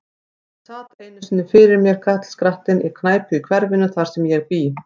Hann sat einu sinni fyrir mér, karlskrattinn, á knæpu í hverfinu, þar sem ég bý.